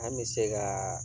An be se kaa